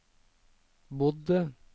bodde